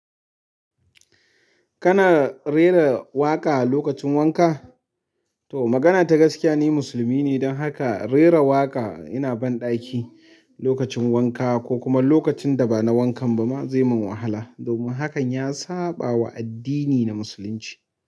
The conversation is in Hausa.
Kana rera waƙa lokacin wanka? To magana ta gaskiya ni musulmi ne don haka rera waƙa ina banɗaki lokacin wanka ko kuma lokacin da ba na wankan ba ma zai mun wahala domin hakan ya saɓawa addini na musulunci.